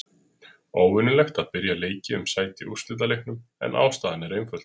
Óvenjulegt að byrja leiki um sæti á úrslitaleiknum, en ástæðan er einföld.